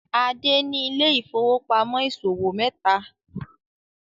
Ade ní Ile-ifowopamọ ìṣòwò meta